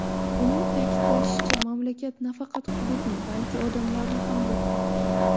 Uning ta’kidlashicha, mamlakat nafaqat hududni, balki odamlarni ham yo‘qotdi.